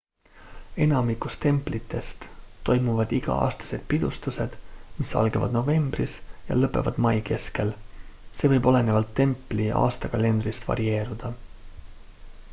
enamikus templitest toimuvad iga-aastased pidustused mis algavad novembris ja lõpevad mai keskel see võib olenevalt templi aastakalendrist varieeruda